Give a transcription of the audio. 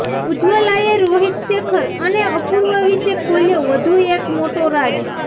ઉજ્વલાએ રોહિત શેખર અને અપૂર્વા વિશે ખોલ્યો વધુ એક મોટો રાઝ